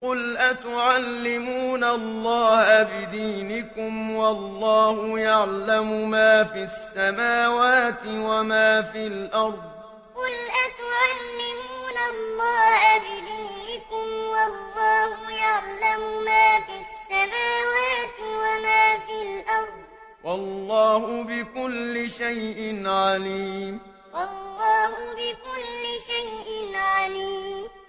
قُلْ أَتُعَلِّمُونَ اللَّهَ بِدِينِكُمْ وَاللَّهُ يَعْلَمُ مَا فِي السَّمَاوَاتِ وَمَا فِي الْأَرْضِ ۚ وَاللَّهُ بِكُلِّ شَيْءٍ عَلِيمٌ قُلْ أَتُعَلِّمُونَ اللَّهَ بِدِينِكُمْ وَاللَّهُ يَعْلَمُ مَا فِي السَّمَاوَاتِ وَمَا فِي الْأَرْضِ ۚ وَاللَّهُ بِكُلِّ شَيْءٍ عَلِيمٌ